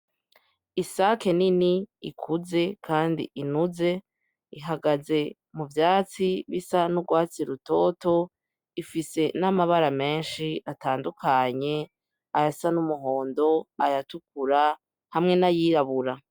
Isake nini ikuze kandi inuze, ihagaze mu vyatsi bisa n'urwatsi rutoto, ifise n'amabara menshi atandukanye ayasa n'umuhondo, ayatukura hamwe n'ayirabura.